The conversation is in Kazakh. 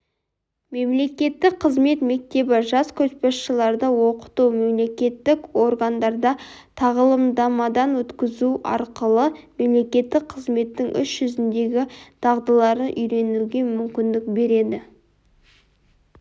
мемлекеттік қызмет мектебі жас көшбасшыларды оқыту мемлекеттік органдарда тағылымдамадан өткізу арқылы мемлекеттік қызметтің іс жүзіндегі дағдыларын үйренуге мүмкіндік береді